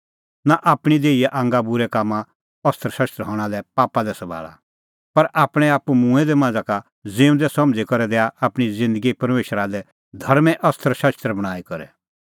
नां आपणीं देहीए आंगा बूरै कामें अस्त्रशस्त्र हणां लै पापा लै सभाल़ा पर आपणैं आप्पू मूंऐं दै मांझ़ा का ज़िऊंदै समझ़ी करै दैआ आपणीं ज़िन्दगी परमेशरा लै धर्में अस्त्रशस्त्र बणांईं करै